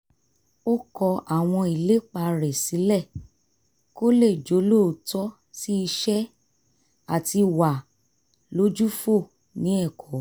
ó kọ àwọn ìlépa rẹ̀ sílẹ̀ kó lè jólóòtọ́ sí iṣẹ́ àti wà lójúfò ní ẹ̀kọ́